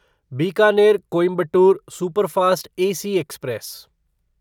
Bikaner Coimbatore superfast AC express